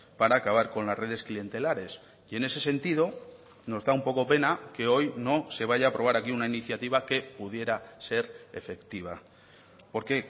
para acabar con las redes clientelares y en ese sentido nos da un poco pena que hoy no se vaya a aprobar aquí una iniciativa que pudiera ser efectiva porque